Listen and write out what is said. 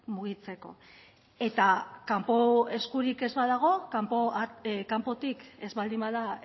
mugitzeko eta kanpo eskurik ez badago kanpotik ez baldin bada